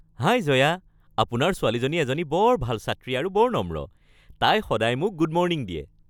হাই জয়া, আপোনাৰ ছোৱালীজনী এজনী বৰ ভাল ছাত্ৰী আৰু বৰ নম্ৰ। তাই সদায় মোক গুড মৰ্ণিং দিয়ে।